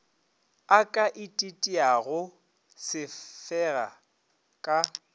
a ka ititiago sefega ka